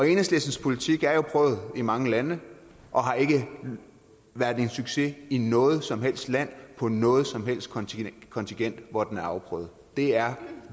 enhedslistens politik er jo prøvet i mange lande og har ikke været en succes i noget som helst land på noget som helst kontinent kontinent hvor den er afprøvet det er